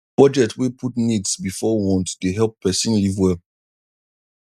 budget wey put needs before wants dey help person live well